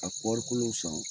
A kɔɔrikolo san.